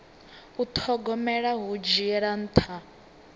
u thogomela hu dzhiela nṱha